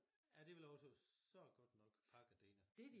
Ja det vel også så der godt nok pakket derinde